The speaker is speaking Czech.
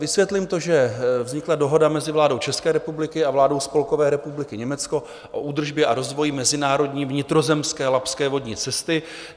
Vysvětlím to, že vznikla dohoda mezi vládou České republiky a vládou Spolkové republiky Německo o údržbě a rozvoji mezinárodní vnitrozemské labské vodní cesty.